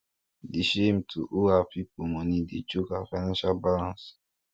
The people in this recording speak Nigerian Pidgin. di shame to owe her people money dey choke her financial balance